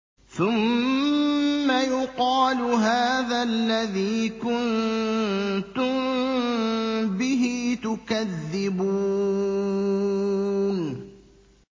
ثُمَّ يُقَالُ هَٰذَا الَّذِي كُنتُم بِهِ تُكَذِّبُونَ